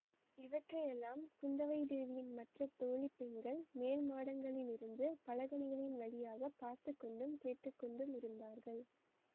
இவற்றையெல்லாம் குந்தவைதேவியின் மற்ற தோழி பெண்கள் மேல் மாடங்களிலிருந்து பலகணிகளின் வழியாக பார்த்து கொண்டும் கேட்டு கொண்டுமிருந்தார்கள்